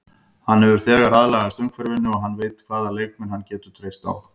Hann hefur þegar aðlagast umhverfinu vel og hann veit hvaða leikmenn hann getur treyst á.